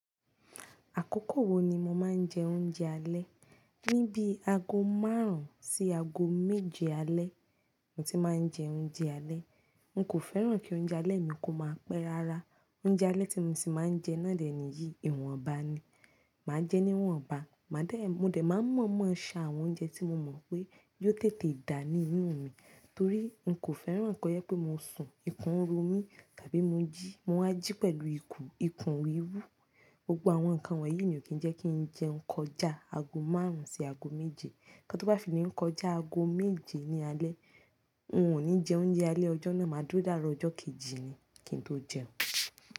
Àkókò wo ni mo máa ń jẹ oúnjẹ alẹ́? Ni bí aago márùn-ún sí aago méje alẹ́ mo ti máa ń jẹ oúnjẹ alẹ́. N kò fẹ́ràn kí oúnjẹ alẹ́ mi kó máa pẹ́ rara. Oúnjẹ alẹ́ tí mo sì máa ń jẹ náà dẹ̀ nìyí, ìwọ̀ǹba ni. Máa jẹẹ́ níwọ̀ǹba, màá dẹ̀, mo dẹ̀ máa ń mọ̀ọ́mọ̀ ṣa àwọn oúnjẹ tí mo mọ̀ pé yóò tètè dá ní inú mi torí n kò fẹ́ràn kó jẹ́ pé mo sùn, ikùn ń ro mí, tàbí mo jí, mo wá jí pẹ̀lú ikùn, ikùn wíwú. Gbogbo àwọn nǹkan wọ̀nyí ni ò kí ń jẹ́ kí n jẹun kọjá aago márùn-ún sí aago méje. Nǹkan tó bá fi lè ń kọjá aago méje ní alẹ́, n ò ní jẹ oúnjẹ alẹ́ ọjọ́ náà, màá dúró dàárọ̀ ọjọ́ kejì ni kí n tó jẹun.